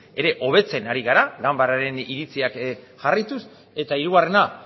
ere hobetzen ari gara ganbararen iritziak jarraituz eta hirugarrena